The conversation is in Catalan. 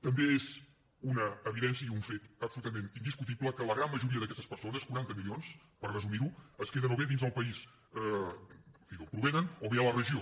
també és una evidència i un fet absolutament indiscutible que la gran majoria d’aquestes persones quaranta milions per resumir ho es queden o bé dins el país en fi d’on provenen o bé a la regió